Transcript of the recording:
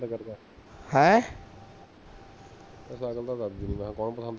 ਅੱਛਾ ਕੋਈ ਨੀ ਕਰਦਾ ਪਸੰਦ